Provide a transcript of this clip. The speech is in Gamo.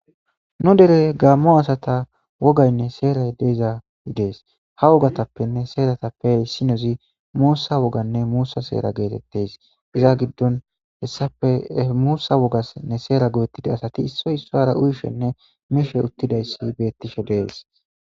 Nu dere gaammo asata wogaynne seeray deeza yidees ha wogatappenne seeratappeissinozi muussa woganne muussa seera geetettes iza giddon hessape muussa wogasnne seera godettida asati issoy issora uyishenne mishe uttidayssi beettishe dees.